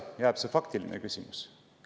Jääb see faktiline küsimus.